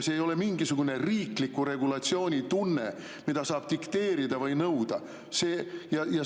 See ei ole mingisugune riikliku regulatsiooni tunne, mida saab dikteerida või nõuda.